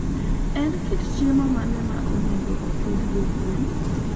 En kit chiemo mane ma onego opidhgo gwen?